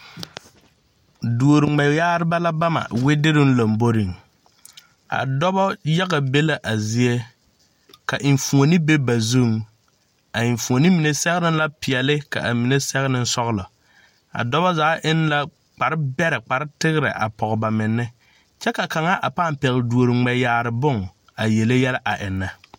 Duoriŋmɛyagreba la bama wederoo lɔmboreŋ a dɔba yaga be la a zie ka enfuoni be ba zuŋ a enfuoni mine sɛgrɛ la peɛle ka mine sɛge ne sɔglɔ a doba zaa eŋ la kparbɛrɛ kpartegrɛ a pɔge ba menne kyɛ ka kaŋa a paa pɛgle duori ŋmɛyaare bon a yele yɛlɛ a eŋnɛ.